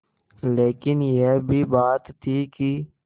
लेकिन यह भी बात थी कि